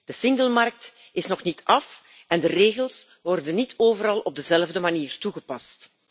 De eengemaakte markt is nog niet af en de regels worden niet overal op dezelfde manier toegepast.